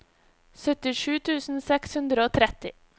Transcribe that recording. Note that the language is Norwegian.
syttisju tusen seks hundre og tretti